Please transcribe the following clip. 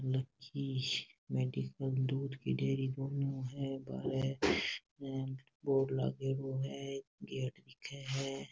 Medical दूध की dairy दोन्यों है बाहरे बोर्ड लागेड़ो है एक गेट दिखे है।